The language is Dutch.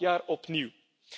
Elk jaar opnieuw.